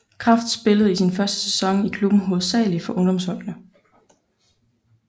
Kraft spillede i sin første sæson i klubben hovedsageligt for ungdomsholdene